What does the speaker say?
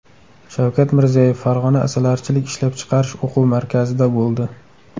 Shavkat Mirziyoyev Farg‘ona asalarichilik ishlab chiqarish o‘quv markazida bo‘ldi.